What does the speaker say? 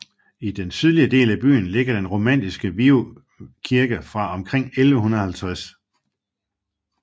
I den sydlige del af byen ligger den romanske Viuf Kirke fra omkring 1150